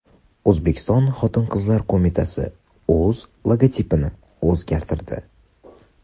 O‘zbekiston Xotin-qizlar qo‘mitasi o‘z logotipini o‘zgartirdi.